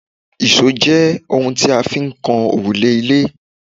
ìṣó jẹ́ oun tí a fi ń kan òrùlé ilé